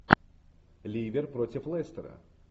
ливер против лестера